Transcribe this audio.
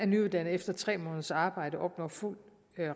nyuddannede efter tre måneders arbejde opnår fuld